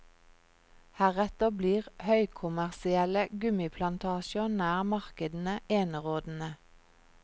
Heretter blir høykommersielle gummiplantasjer nær markedene enerådende.